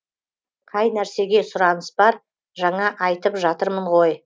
қай нәрсеге сұраныс бар жаңа айтып жатырмын ғой